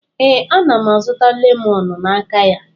Ee, ana m azụta lemoonu n'aka ya.